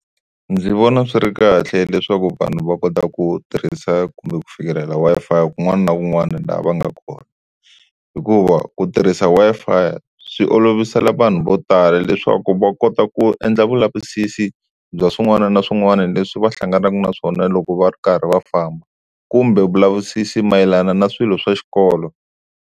Ndzi vona swi ri kahle leswaku vanhu va kota ku tirhisa kumbe ku fikelela Wi-Fi kun'wana na kun'wana laha va nga kona. Hikuva ku tirhisa Wi-Fi swi olovisela vanhu vo tala leswaku va kota ku endla vulavisisi bya swin'wana na swin'wana leswi va hlanganaka na swona, loko va ri karhi va famba kumbe vulavisisi mayelana na swilo swa xikolo.